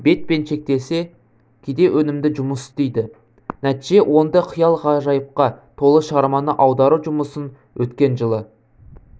бетпен шектелсе кейде өнімді жұмыс істейді нәтиже оңды қиял-ғажайыпқа толы шығарманы аудару жұмысын өткен жылы